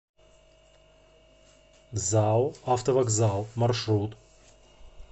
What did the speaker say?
зао автовокзал маршрут